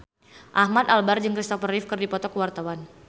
Ahmad Albar jeung Kristopher Reeve keur dipoto ku wartawan